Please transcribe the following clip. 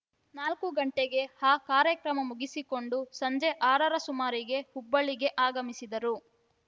ನಾಲ್ಕು ಗಂಟೆಗೆ ಆ ಕಾರ್ಯಕ್ರಮ ಮುಗಿಸಿಕೊಂಡು ಸಂಜೆ ಆರರ ಸುಮಾರಿಗೆ ಹುಬ್ಬಳ್ಳಿಗೆ ಆಗಮಿಸಿದರು